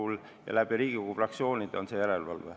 Järelevalve toimub Riigikogu fraktsioonide kaudu.